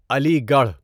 علی گڑھ